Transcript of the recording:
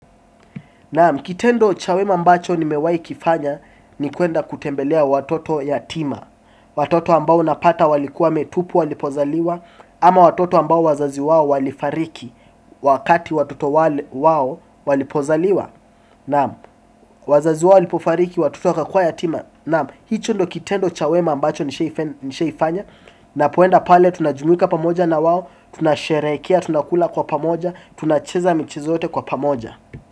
Naam, kitendo cha wema ambacho nimewai kifanya ni kuenda kutembelea watoto yatima. Watoto ambao unapata walikuwa wametupwa walipozaliwa. Ama watoto ambao wazazi wao walifariki wakati watoto wao walipozaliwa. Naam. Wazazi wao walipofariki watoto wakakuwa yatima. Naam, hicho ndio kitendo cha wema ambacho nishaifanya. Napoenda pale tunajumuika pamoja na wao. Tunasherehekea, tunakula kwa pamoja, tunacheza michez yote kwa pamoja.